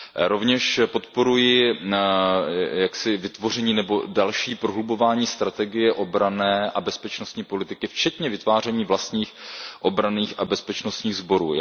Rovněž podporuji vytvoření nebo další prohlubování strategie obranné a bezpečnostní politiky, včetně vytváření vlastních obranných a bezpečnostních sborů.